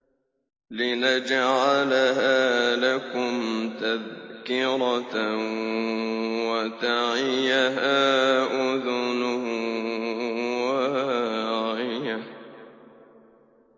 لِنَجْعَلَهَا لَكُمْ تَذْكِرَةً وَتَعِيَهَا أُذُنٌ وَاعِيَةٌ